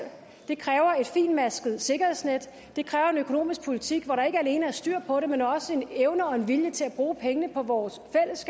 det kræver et fintmasket sikkerhedsnet det kræver en økonomisk politik hvor der ikke alene er styr på det men også en evne og en vilje til at bruge pengene på vores